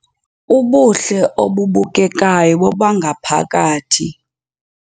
Ubuhle obubukekayo bobangaphakathi